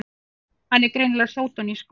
Hann er greinilega sódónískur!